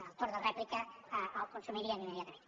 el torn de rèplica el consumiríem immediatament